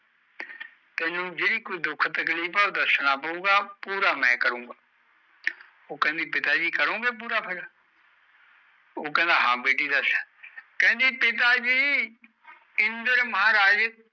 ਤੀਨੋ ਜੇ ਕੋਈ ਦੁੱਖ ਤਖਲਿਫ ਹੈ ਓ ਦਸਣਾ ਪਾਉ ਗਏ ਫਰ ਪੂਰਾ ਮੈ ਕਰੁ ਗਏ ਓ ਕੈਂਦੀ ਕਰੋ ਗਏ ਪੂਰਾ ਫਰ ਕਉ ਹਨ ਬੇਟੀ ਦਾਸ ਕੈਂਦੀ ਇੰਦਰ ਦੇ